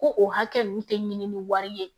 Ko o hakɛ nun tɛ ɲini ni wari ye